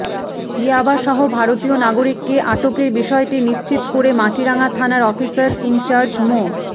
ইয়াবাসহ ভারতীয় নাগরিককে আটকের বিষয়টি নিশ্চিত করে মাটিরাঙ্গা থানার অফিসার ইনচার্জ মো